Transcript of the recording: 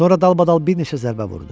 Sonra dalbadal bir neçə zərbə vurdu.